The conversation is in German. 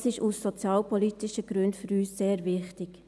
Dies ist aus sozialpolitischen Gründen für uns sehr wichtig.